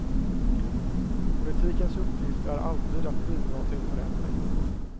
Politikens uppgift är alltid att bidra till förändring.